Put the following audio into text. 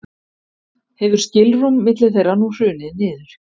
hefur skilrúm milli þeirra nú hrunið niður